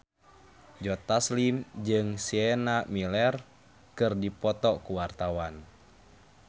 Joe Taslim jeung Sienna Miller keur dipoto ku wartawan